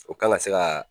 O kan ka se ka